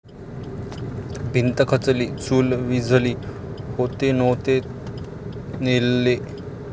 भिंत खचली, चूल विझली...होते नव्हते नेले'